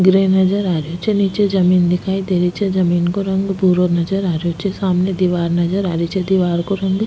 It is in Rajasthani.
ग्रे नजर आ रो छे निचे जमीं दिखाई दे रही छे जमीं को रंग भूरो नजर आ रो छे सामने दीवर नजर आ रही छे दिवार को रंग --